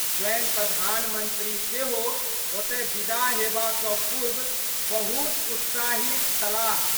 स्वयं प्रधानमंत्री सेहो ओतय विदा हेबा सं पूर्व बहुत उत्साहित छलाह।